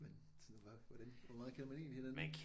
Men sådan var hvordan hvor meget kender man egentlig hinanden